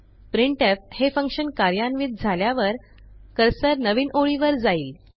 printf हे function कार्यान्वित झाल्यावर कर्सर नवीन ओळीवर जाईल